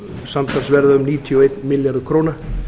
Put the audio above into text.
samtals verða um níutíu og einn milljarður króna